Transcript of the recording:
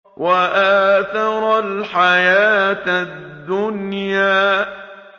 وَآثَرَ الْحَيَاةَ الدُّنْيَا